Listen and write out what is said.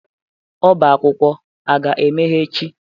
Ọbá akwụkwọ a ga-emeghe echi?